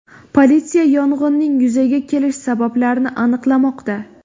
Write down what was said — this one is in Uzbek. Politsiya yong‘inning yuzaga kelish sabablarini aniqlamoqda.